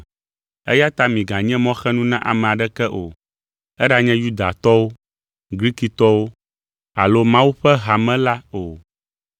Eya ta miganye mɔxenu na ame aɖeke o, eɖanye Yudatɔwo, Grikitɔwo alo Mawu ƒe hame la o.